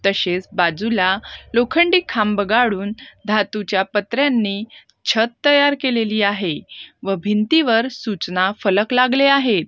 तसेच बाजूला लोखंडी खांब गाढून धातूच्या प छत तयार केलेली आहे व भिंतीवर सूचना फलक लागले आहेत.